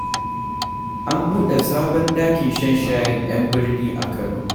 An buɗe sabon ɗakin shan shayin 'yan birni a Kano.